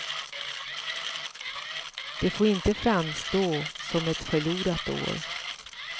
Det får inte framstå som ett förlorat år.